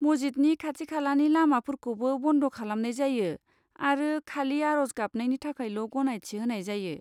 मस्जिदनि खाथि खालानि लामाफोरखौबो बन्द खालामनाय जायो आरो खालि आर'ज गाबनायनि थाखायल' गनायथि होनाय जायो।